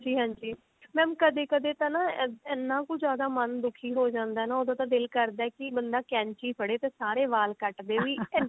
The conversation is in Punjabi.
ਹਾਂਜੀ mam ਕਦੇ ਕਦੇ ਤਾਂ ਨਾ ਇੰਨਾ ਕੁ ਜਿਆਦਾ ਮਨ ਦੁਖੀ ਹੋ ਜਾਂਦਾ ਹੈ ਉਦੋਂ ਕਿ ਦਿਲ ਕਰਦਾ ਕਿ ਬੰਦਾ ਕੈਂਚੀ ਫੜੇ ਤੇ ਸਾਰੇ ਵਾਲ ਕੱਟ ਦੇਵੇ